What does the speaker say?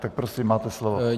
Tak prosím, máte slovo.